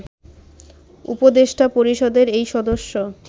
উপদেষ্টা পরিষদের এই সদস্য